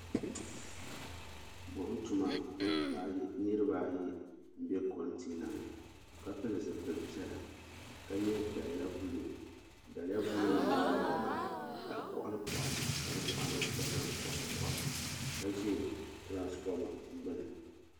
Buɣum tuma niriba ayi m be kontina ni ka pili zipil piɛlla ka ye daliya buluu daliya buluu nima maa nyaanga ka di koɣali koɣali ka di boɣari gba tom koɣali koɣili ka ʒɛ tiranfoma gbini.